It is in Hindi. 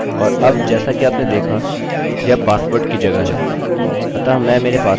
यह संग्रहीत हो गया है अतः इसका उपयोग किया जा सकता है मैं इसका उपयोग कर सकता हूँ यदि मैं चाहूँ